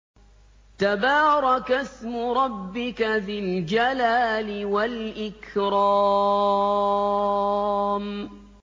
تَبَارَكَ اسْمُ رَبِّكَ ذِي الْجَلَالِ وَالْإِكْرَامِ